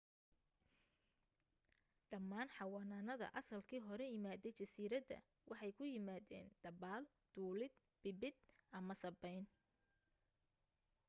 dhammaan xawanaanada asalkii hore imaaday jasiiradda waxay ku yimaadeen dabaal duulid biibid ama sabbayn